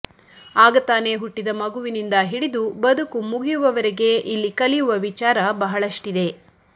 ಆಗ ತಾನೆ ಹುಟ್ಟಿದ ಮಗುವಿನಿಂದ ಹಿಡಿದು ಬದುಕು ಮಗಿಯುವವರೆಗೆ ಇಲ್ಲಿ ಕಲಿಯುವ ವಿಚಾರ ಬಹಳಷ್ಟಿದೆ